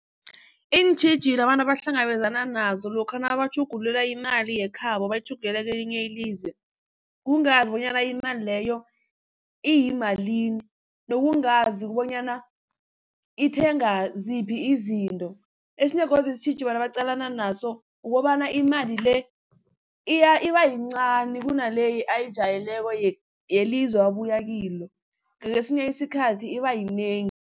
Iintjhijilo abantu abahlangabezana nazo lokha nabatjhugulula imali yekhabo bayitjhugululela kwelinye ilizwe, kungazi bonyana imali leyo iyimalini nokungazi bonyana ithenga ziphi izinto. Esinye godu isitjhijilo abantu abaqalana naso ukobana imali le ibayincani kunale ayijwayeleko yelizwe abuyakilo ngakesinye isikhathi ibayinengi.